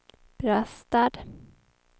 Brastad